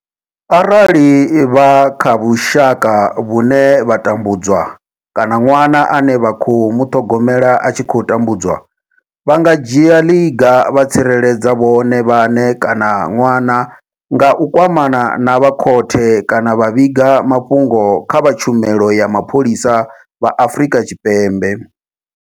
Arali vha kha vhusha ka vhune vha tambudzwa kana ṅwana ane vha khou muṱhogomela a tshi khou tambudzwa, vha nga dzhia ḽiga vha tsireledza vhone vhaṋe kana ṅwana nga u kwamana na vha khothe kana vha vhiga mafhungo kha vha tshumelo ya mapholisa vha Afrika Tshipembe.